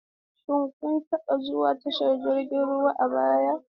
Shin kun taba zuwa tashar jiragen ruwa a baya?